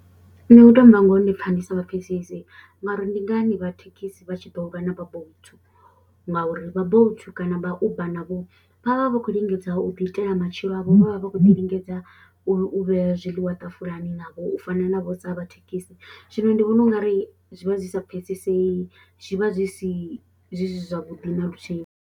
Nṋe u tou amba ngoho ndi pfha ndi sa vha pfhesesi nga uri ndi ngani vha thekhisi vha tshi ḓo lwa na vha Bolt ngauri vha Bolt kana vha Uber navho vha vha vho khou lingedza u ḓiitela matshilo avho vha vha vha khou ḓi lingedza u vhea zwiḽiwa ṱafulani navho u fana navho sa vha thekhisi, zwino ndi vhona u nga ri zwi vha zwi sa pfhesesei, zwi vha zwi si zwi si zwavhuḓi na luthihi.